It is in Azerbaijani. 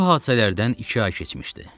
Bu hadisələrdən iki ay keçmişdi.